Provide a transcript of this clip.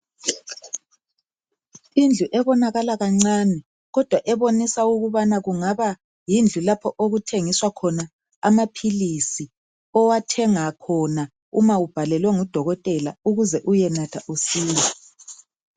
Indlu ebonakala kancane kodwa ebonisa ukubana kungaba yindlu lapha okuthengiswa khona amaphilizi owathenga khona uma ubhalelwe ngudokotela ukuze uyenatha usile.